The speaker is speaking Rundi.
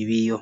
ibiyo